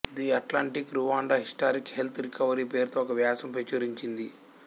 the Atlantic Rwanda historic health recovery పేరుతో ఒక వ్యాసం ప్రచురించింది